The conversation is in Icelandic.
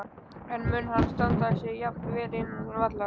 En mun hann standa sig jafn vel innan vallar?